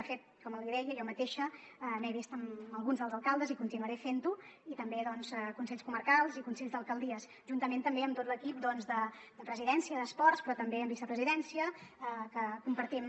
de fet com li deia jo mateixa m’he vist amb alguns dels alcaldes i continuaré fent ho i també doncs consells comarcals i consells d’alcaldies juntament també amb tot l’equip de presidència d’esports però també amb vicepresidència que compartim